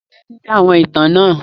Jókò ki ó tẹtisi àwọn ìtan náà!